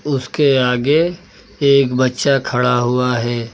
उसके आगे एक बच्चा खड़ा हुआ है।